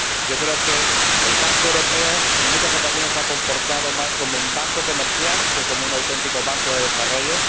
Yo creo que el Banco Europeo de Inversiones ―en muchas ocasiones― se ha comportado más como un banco comercial que como un auténtico banco de desarrollo